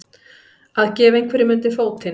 Að gefa einhverjum undir fótinn